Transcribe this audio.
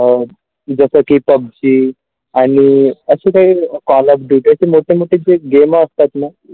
अ जसं की pubg आणि असं काही Call of Duty असे मध्ये जे game असतात ना.